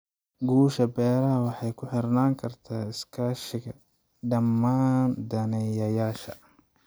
Guusha beeraha waxay ku xirnaan kartaa iskaashiga dhammaan daneeyayaasha.